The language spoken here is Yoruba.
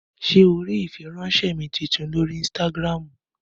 Ṣé o rí ìfiránsẹ́ mi tuntun lórí ínstágíráàmù?